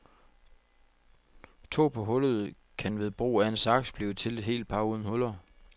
To par hullede kan ved brug af en saks blive til et helt par uden huller.